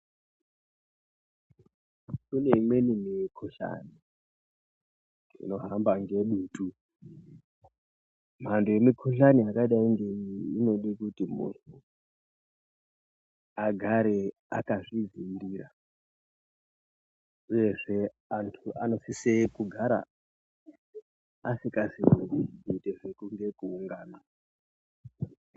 Kune imweni mikhuhlani inohamba ngedutu ,mhando yemikhuhlani yakadai ngeiyi inode kuti munhu agare akazvidziirira uyehe anhu anosise kugara asikazi kuite zvekuungana.